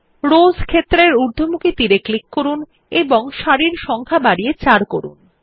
rose ক্ষেত্রের ঊর্ধ্বমুখী তীর এ ক্লিক করুন এবং সারির সংখ্যা বাড়িয়ে ৪ করুন